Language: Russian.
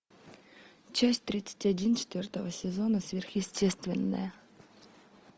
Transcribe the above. часть тридцать один четвертого сезона сверхъестественное